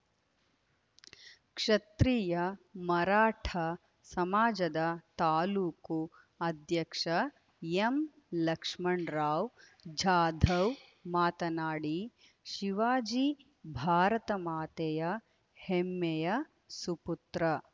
ಕ್ಷತ್ರಿಯ ಮರಾಠ ಸಮಾಜದ ತಾಲ್ಲೂಕು ಅಧ್ಯಕ್ಷ ಎಂಲಕ್ಷ್ಮಣರಾವ್‌ ಜಾಧವ್‌ ಮಾತನಾಡಿ ಶಿವಾಜಿ ಭಾರತ ಮಾತೆಯ ಹೆಮ್ಮೆಯ ಸುಪುತ್ರ